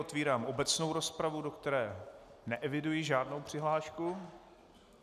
Otevírám obecnou rozpravu, do které neeviduji žádnou přihlášku.